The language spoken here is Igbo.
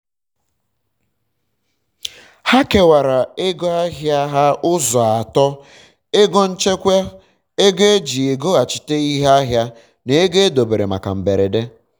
ha kewara ego ahịa um ha ụzọ um atọ: ego nchekwa ego um eji egoghachite ihe ahịa na ego e dobere maka mberede